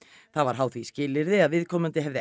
það var háð því skilyrði að viðkomandi hefði